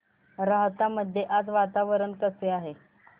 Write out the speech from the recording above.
राहता मध्ये आज वातावरण कसे आहे